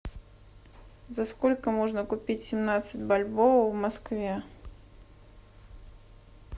за сколько можно купить семнадцать бальбоа в москве